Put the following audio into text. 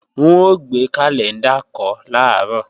N ó gbé kàlẹ́ńdà kọ́ làárọ̀